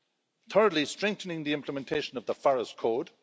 Thirdly, strengthening the implementation of the forest code.